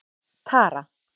Tara